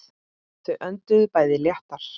Þau önduðu bæði léttar.